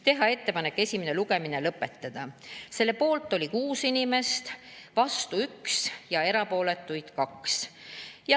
Teha ettepanek esimene lugemine lõpetada, selle poolt oli 6 inimest, vastu 1 ja erapooletuks jäi 2.